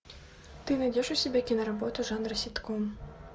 ты найдешь у себя киноработу жанра ситком